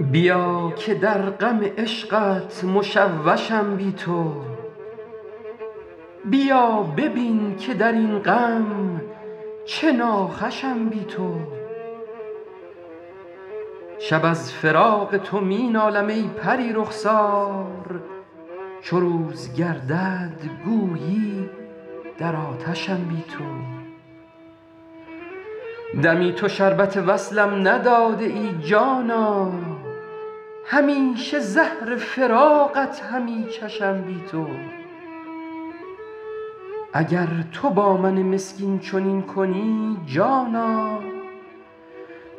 بیا که در غم عشقت مشوشم بی تو بیا ببین که در این غم چه ناخوشم بی تو شب از فراق تو می نالم ای پری رخسار چو روز گردد گویی در آتشم بی تو دمی تو شربت وصلم نداده ای جانا همیشه زهر فراقت همی چشم بی تو اگر تو با من مسکین چنین کنی جانا